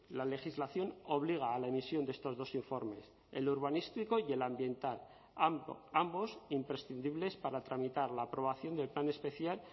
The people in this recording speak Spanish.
la legislación obliga a la emisión de estos dos informes el urbanístico y el ambiental ambos imprescindibles para tramitar la aprobación del plan especial